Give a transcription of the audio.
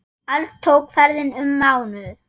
Alls tók ferðin um mánuð.